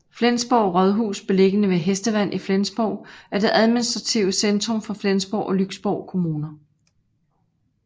Flensborg Rådhus beliggende ved Hestevand i Flensborg er det administrative centrum for Flensborg og Lyksborg Kommuner